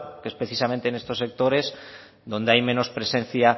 es precisamente en estos sectores donde hay menos presencia